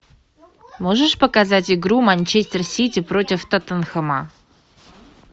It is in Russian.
можешь показать игру манчестер сити против тоттенхэма